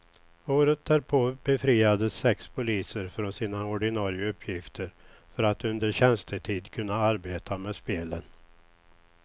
Året därpå befriades sex poliser från sina ordinare uppgifter för att under tjänstetid kunna arbeta med spelen.